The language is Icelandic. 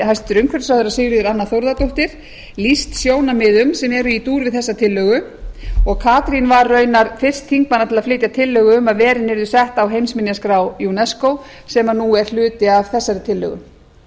hæstvirtur umhverfisráðherra sigríður anna þórðardóttir lýst sjónarmiðum sem eru í dúr við þessa tillögu og katrín var raunar fyrst þingmanna til að flytja tillögu um að verin yrðu sett á heimsminjaskrá unesco sem nú er hluti af þessari tillögu